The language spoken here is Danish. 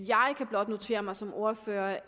jeg kan blot notere mig som ordfører